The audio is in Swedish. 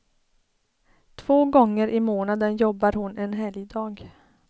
Två gånger i månaden jobbar hon en helgdag.